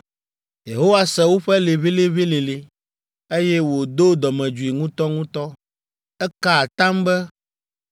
Yehowa se woƒe liʋĩliʋĩlilĩ, eye wòdo dɔmedzoe ŋutɔŋutɔ. Eka atam be,